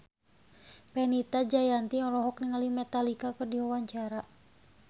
Fenita Jayanti olohok ningali Metallica keur diwawancara